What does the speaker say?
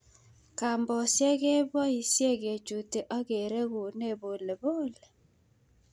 Kambosiek keboisie kechuti ak kereguni polepole.